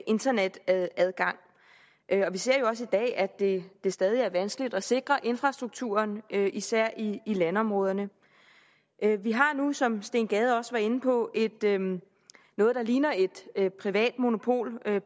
internetadgang vi ser jo også i dag at det stadig er vanskeligt at sikre infrastrukturen især i landområderne vi har nu som herre steen gade også var inde på noget der ligner et privat monopol